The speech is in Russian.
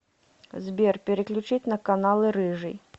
сбер переключить на каналы рыжий